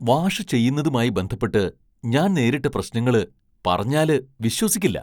Wash ചെയ്യുന്നതുമായി ബന്ധപ്പെട്ട് ഞാൻ നേരിട്ട പ്രശ്നങ്ങള് പറഞ്ഞാല് വിശ്വസിക്കില്ല.